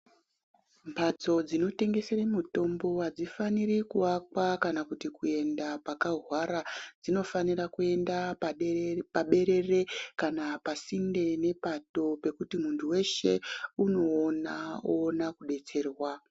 Mphatso dzinotengesre mitombo, adzifaniri kuakwa kana kuti kuenda pakahwara. Dzinofanira kuenda paberere, kana pasinde nepato, pekuti munthu weshe unoona, oona kudetserwa.